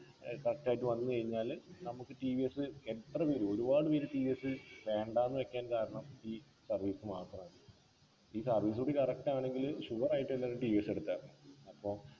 ഏർ first ആയിട്ട് ഏർ വന്ന് കയിഞ്ഞാല് നമുക്ക് ടി വി എസ് എത്ര പേര് ഒരുപാട് പേര് ടി വി എസ് വേണ്ടാന്ന് വെക്കാൻ കാരണം ഈ service മാത്രാണ് ഈ service ഒക്കെ correct ആണെങ്കില് sure ആയിട്ടും എല്ലാരും ടി വി എസ് എടുക്കാ അപ്പൊ